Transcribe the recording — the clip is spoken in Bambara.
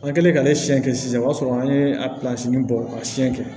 An kɛlen k'ale siyɛn kɛ sisan o y'a sɔrɔ an ye a bɔ ka siyɛn kɛ